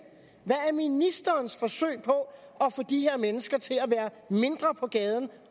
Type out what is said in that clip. hvad er ministerens forsøg på at få de her mennesker til at være mindre på gaden